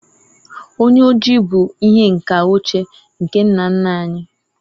onye oji bu ihe nka ochie nke nna nna anyi